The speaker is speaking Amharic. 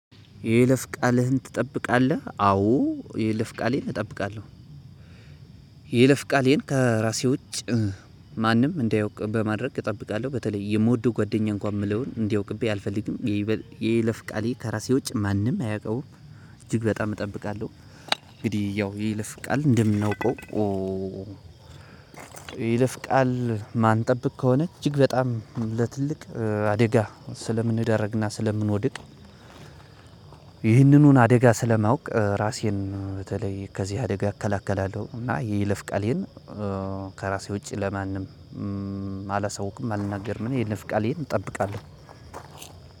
የይለፍ ቃልህን ትጠብቃለህ? አዎ ይሄ የይለፍ ቃሌን እጠብቃለሁ። የይለፍ ቃሌን ከራሴ ውጭ ማንም እንዳያውቅ በማድረግ እጠብቃለሁ በተለይ የምወደው ጓደኛ እንኳን የምለውን እንዳያውቅብኝ አልፈልግም። የይለፍ ቃሌን ከራሴ ውጭ ማንም አያውቀውም። እጅግ በጣም እጠብቃለሁ እንግዲህ ያው የይለፍቃል እንደምናውቀው። የይለፍ ቃል ማንጠብቅ ከሆነ እጅግ በጣም ለትልቅ አደጋ ስለምንዳረግና ስለምንወድቅ። ይሄንኑ አደጋ ስለማውቅ እራሴን በተለይ ከዚህ አደጋ እከላከላለሁና። የይለፍ ቃሌን ከራሴ ውጪ ለማንም አላሰውኩም አልናገርም የይለፍ ቃሌን እጠብቃለሁ።